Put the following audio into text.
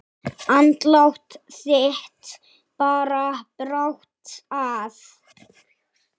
Andlát þitt bar brátt að.